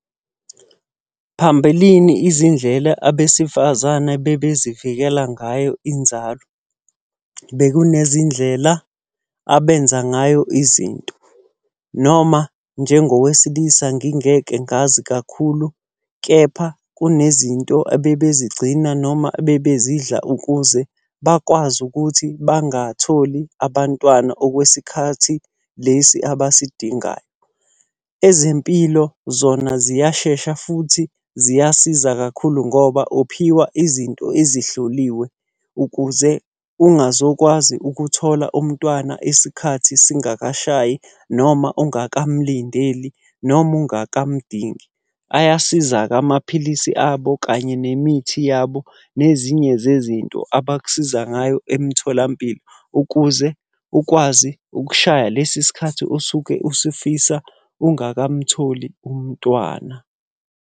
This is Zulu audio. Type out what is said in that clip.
Phambilini izindlela abesifazane bebezivikela ngayo inzalo. Bekunezindlela abenza ngayo izinto, noma njengowesilisa gingeke ngazi kakhulu, kepha kunezinto abebezigcina noma abebezidlala ukuze bakwazi ukuthi bangatholi abantwana okwesikhathi lesi abasidingayo. Ezempilo zona ziyashesha futhi ziyasiza kakhulu ngoba uphiwa izinto ezihloliwe ukuze ungazokwazi ukuthola umntwana isikhathi singakashayi noma ungakamulindeli, noma ungakamudingi. Ayasiza-ke amaphilisi abo kanye nemithi yabo nezinye zezinto abakusiza ngayo emtholampilo, ukuze ukwazi ukushaya lesi sikhathi osuke usifisa ungakamtholi umntwana.